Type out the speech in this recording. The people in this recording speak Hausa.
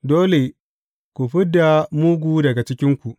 Dole ku fid da mugu daga cikinku.